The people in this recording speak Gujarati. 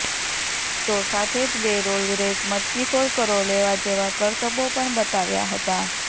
તો સાથે જ બે રોલ રેસ મટકીફોડ કરો લેવા જેવા કરતબો પણ બતાવ્યા હતા